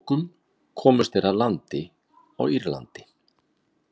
Að lokum komust þeir að landi á Írlandi.